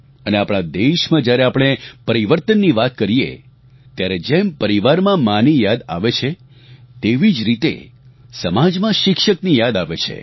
અને આપણા દેશમાં જ્યારે આપણે પરિવર્તનની વાત કરીએ ત્યારે જેમ પરિવારમાં માંની યાદ આવે છે તેવી જ રીતે સમાજમાં શિક્ષકની યાદ આવે છે